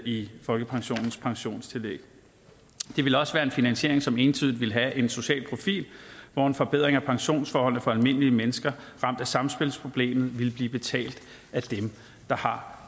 i folkepensionens pensionstillæg det ville også være en finansiering som entydigt ville have en social profil hvor en forbedring af pensionsforholdene for almindelige mennesker ramt af samspilsproblemet ville blive betalt af dem der har